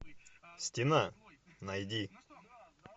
стена найди